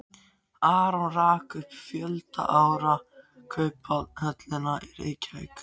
Aron rak um fjölda ára Kauphöllina í Reykjavík.